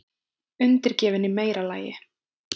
Undirgefin í meira lagi.